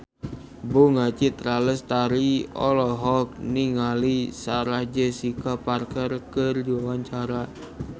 Bunga Citra Lestari olohok ningali Sarah Jessica Parker keur diwawancara